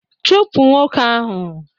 Chụpụ nwoke ahụ!